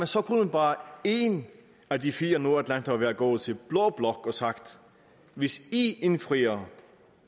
så kunne bare én af de fire nordatlantere være gået til blå blok og have sagt hvis i indfrier